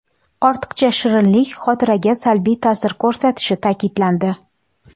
Ortiqcha shirinlik xotiraga salbiy ta’sir ko‘rsatishi ta’kidlandi.